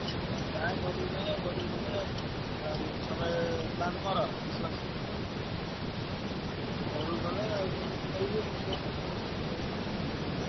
ମୁଁ ଯାଏ ଘରୁକୁ ଯାଏ ଘରୁକୁ ଗଲେ ଆଉ ତମେ plan କର ମିଶିମାଶି। ମୁଁ ଘରୁକୁ ଗଲେ ଆଉ ତମୁକୁ କହିବି କେତେ କଣ କଣ